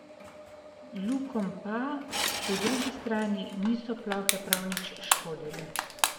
Lukom pa, po drugi strani, niso plohe prav nič škodile.